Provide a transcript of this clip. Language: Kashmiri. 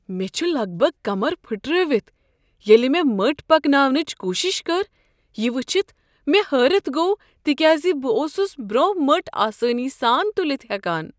مےٚ چھُ لگ بھگ كمر پھِٹرٲوِتھ ، ییٚلہِ مے٘ مٔٹ پکناونٕچہِ كوٗشِش كٕر یہِ وٕچھِتھ مے٘ ہٲرتھ گوٚو، تہِ كیازِ بہٕ اوسُس برونہہ مٔٹ آسٲنی سان تُلِتھ ہٮ۪كان۔